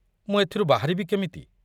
ମୁଁ ଏଥିରୁ ବାହାରିବି କେମିତି?